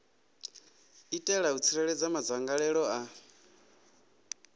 itela u tsireledza madzangalelo a